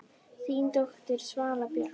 Þín dóttir, Svala Björk.